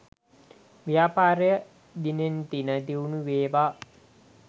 ව්‍යාපාරය දිනෙන් දින දියුණුවේවා